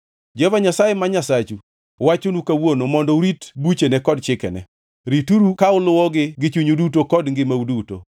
Jehova Nyasaye ma Nyasachu wachonu kawuono mondo urit buchene kod chikene; ritgiuru ka uluwogi gi chunyu duto kod ngimau duto.